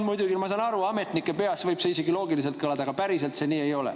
Muidugi, ma saan aru, ametnike peas võib see isegi loogiliselt kõlada, aga päriselt see nii ei ole.